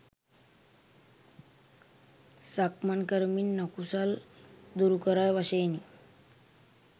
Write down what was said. සක්මන් කරමින් අකුසල් දුරුකරයි වශයෙනි.